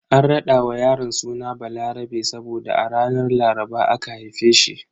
An rada wa yaron suna Balarabe saboda a ranar Laraba aka haife shi.